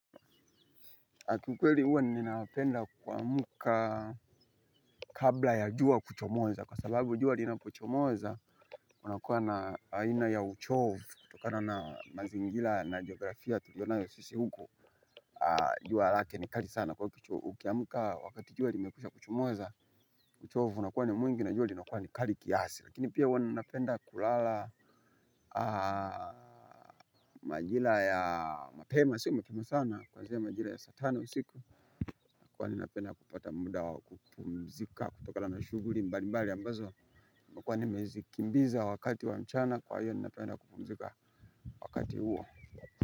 Kiukweli huwa ninapenda kuamka kabla ya juwa kuchomoza kwa sababu juwa linapo chomoza hwa nakuwa na aina ya uchovu kutokana na mazingira na geografia tuliyo nayo sisi huku. Jua lake ni kali sana kwa hiyo ukiamka wakati juwa limekwisha kuchomoza uchovu unakuwa ni mwingi na juwa linakuwa ni kali kiasi. Lakini pia huwa ninapenda kulala majira ya mapema siku mapema sana. Kwanzia majira ya saa tano siku kwa ni napenda kupata muda wa kukumzika. Kutoka la mashuguri mbali mbali ambazo kwa ni mezi kimbiza wakati wa mchana. Kwa hiyo ni napenda kupumzika wakati uo.